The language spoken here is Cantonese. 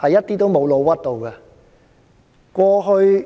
我們一點也沒有"老屈"他們。